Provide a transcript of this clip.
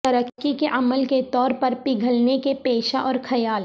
ترقی کے عمل کے طور پر پگھلنے کے پیشہ اور خیال